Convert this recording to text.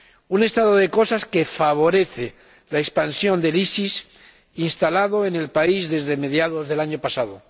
Un estado de cosas que favorece la expansión del EIIL, instalado en el país desde mediados del año pasado.